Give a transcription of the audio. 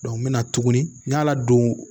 n mɛna tuguni n y'a ladon